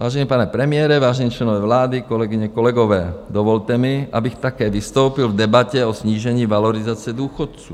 Vážený pane premiére, vážení členové vlády, kolegyně, kolegové, dvolte mi, abych také vystoupil v debatě o snížení valorizace důchodů.